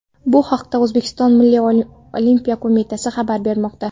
Bu haqda O‘zbekiston Milliy olimpiya qo‘mitasi xabar bermoqda .